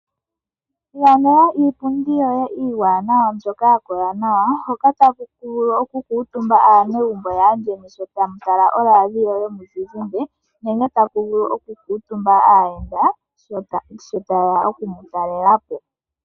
Ilandela iipundi yoye iiwaanawa mbyoka ya kola nawa mpoka tapu vulu okukuutumba aanegumbo yaandjeni sho tamu tala oradio yomuzizimbe nenge mpoka tapu vulu okukuutumba aayenda sho taye ya okumutalela po.